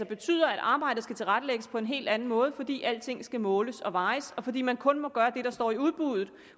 betyder at arbejdet skal tilrettelægges på en helt anden måde fordi alting skal måles og vejes og fordi man kun må gøre det der står i udbuddet